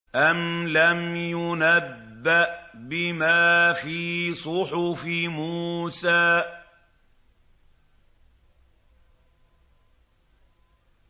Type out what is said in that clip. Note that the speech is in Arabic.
أَمْ لَمْ يُنَبَّأْ بِمَا فِي صُحُفِ مُوسَىٰ